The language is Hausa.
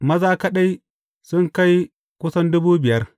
Maza kaɗai sun kai kusan dubu biyar.